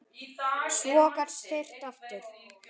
Svo gat syrt að aftur.